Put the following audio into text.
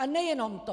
A nejenom to!